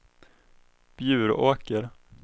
Bjuråker